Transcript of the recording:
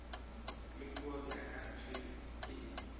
le kua bjaka tšhwene e